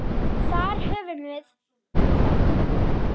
Þar höfum við það.